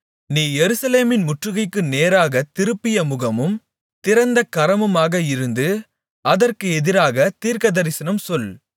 நீ எருசலேமின் முற்றுகைக்கு நேராகத் திருப்பிய முகமும் திறந்த கரமுமாக இருந்து அதற்கு எதிராகத் தீர்க்கதரிசனம் சொல்